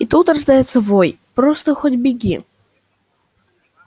и тут раздаётся вой просто хоть беги